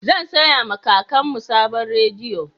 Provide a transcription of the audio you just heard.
Zan saya ma kakanmu sabon rediyo